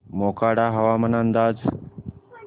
मोखाडा हवामान अंदाज